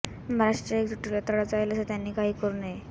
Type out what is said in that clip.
महाराष्ट्राच्या एकजुटीला तडा जाईल असे त्यांनी काही करू नये